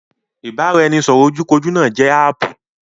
Ibaraẹnisọrọ ojú kojú náà jẹ́ áàpù